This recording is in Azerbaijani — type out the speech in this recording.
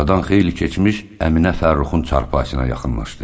Aradan xeyli keçmiş Əminə Fəxrruxun çarpayısına yaxınlaşdı.